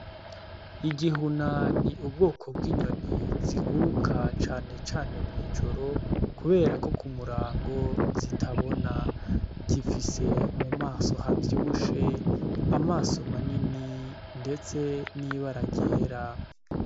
Igihuna ni ubwoko bw'inyoni ziguruka cane cane mw'ijoro kubera ko ku murango zitabona. Gifise mu maso havyibushe, amaso manini, ndetse n'ibara ryera.